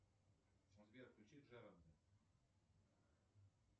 сбер включи джером